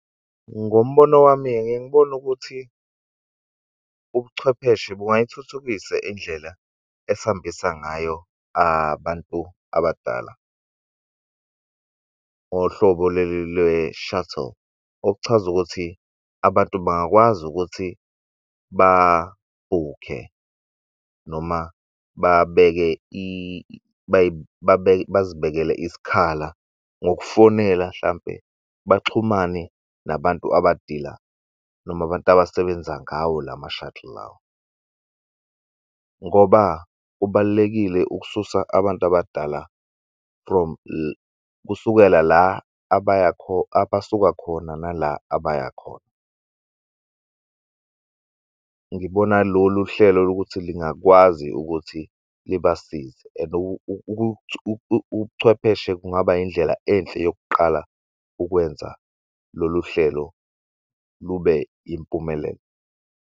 Ngombono wami-ke ngike ngibone ukuthi ubuchwepheshe bungayithuthukisa indlela esihambisa ngayo abantu abadala ohlobo lwe-shuttle. Okuchaza ukuthi abantu bangakwazi ukuthi babhukhe noma babeke bazibekele isikhala ngokufonela hlampe baxhumane nabantu abadila noma abantu abasebenza ngawo lama-shadow lawo, ngoba kubalulekile ukususa abantu abadala from kusukela la abasuka khona nala abaya khona. Ngibona lolu hlelo lokuthi lingakwazi ukuthi libasize and ubuchwepheshe kungaba indlela enhle yokuqala ukwenza lolu hlelo lube yimpumelelo.